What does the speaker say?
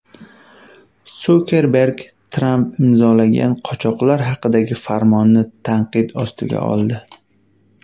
Sukerberg Tramp imzolagan qochoqlar haqidagi farmonni tanqid ostiga oldi.